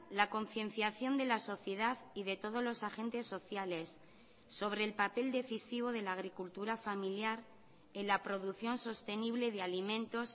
la concienciación de la sociedad y de todos los agentes sociales sobre el papel decisivo de la agricultura familiar en la producción sostenible de alimentos